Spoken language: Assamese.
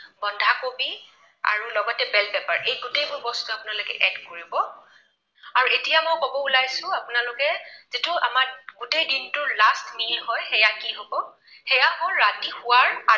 কবি আৰু লগতে paper এই গোটেইবোৰ বস্তু আপোনালোকে add কৰিব। আৰু এতিয়া মই কব ওলাইছো আপোনালোকে যিটো আমাৰ গোটেই দিনটোৰ last meal হয় সেয়া কি হব, সেয়া হল ৰাতি শুৱাৰ